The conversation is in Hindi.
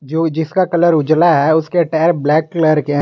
जो जिसका कलर उजला है उसके टायर ब्लैक कलर के हैं।